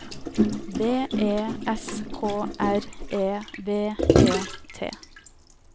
B E S K R E V E T